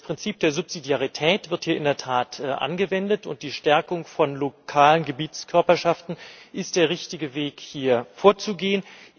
Das Prinzip der Subsidiarität wird hier in der Tat angewendet, und die Stärkung von lokalen Gebietskörperschaften ist der richtige Weg, hier vorzugehen.